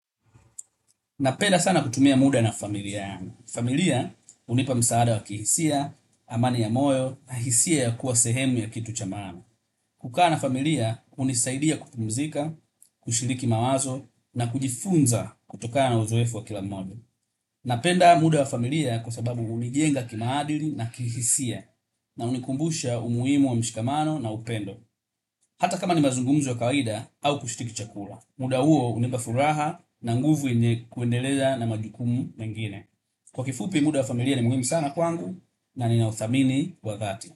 Napenda sana kutumia muda na familia yangu. Familia hunipa msaada wa kihisia, amani ya moyo, na hisia ya kuwa sehemu ya kitu cha maana. Kukaa na familia hunisaidia kupumzika, kushiriki mawazo na kujifunza kutokana na uzoefu wa kila mmoja. Napenda muda wa familia kwa sababu hunijenga kimaadili na kihisia na hunikumbusha umuhimu wa mshikamano na upendo. Hata kama ni mazungumzo ya kawida au kushiriki chakula. Muda huo hunipa furaha na nguvu yenye kuendeleza na majukumu mengine. Kwa kifupi muda wa familia ni muhimu sana kwangu na ninauthamini wa dhati.